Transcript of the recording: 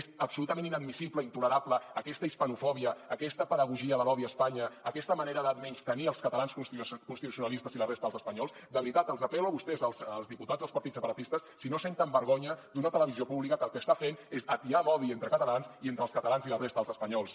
és absolutament inadmissible intolerable aquesta hispanofòbia aquesta pedagogia de l’odi a espanya aquesta manera de menystenir els catalans constitucionalistes i la resta dels espanyols de veritat els apel·lo a vostès els diputats dels partits separatistes si no senten vergonya d’una televisió pública que el que està fent és atiar l’odi entre catalans i entre els catalans i la resta dels espanyols